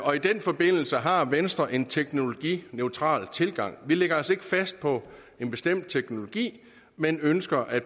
og i den forbindelse har venstre en teknologineutral tilgang vi lægger os ikke fast på en bestemt teknologi men ønsker at